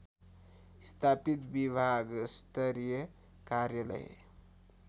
स्थापित विभागस्तरिय कार्यालय